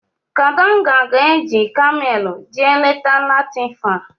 Kadanga ga-eji Kamelu jee leta Latifa.